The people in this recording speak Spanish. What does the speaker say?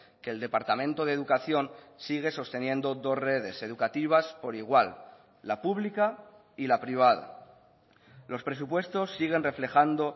que el departamento de educación sigue sosteniendo dos redes educativas por igual la pública y la privada los presupuestos siguen reflejando